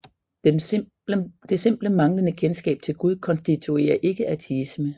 Det simple manglende kendskab til Gud konstituerer ikke ateisme